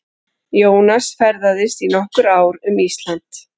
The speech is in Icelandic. Jónas ferðaðist í nokkur ár um Ísland.